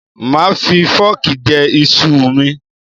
Màá fi fọ́ọ̀kì jẹ iṣu ù mi.